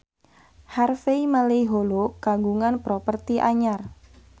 Harvey Malaiholo kagungan properti anyar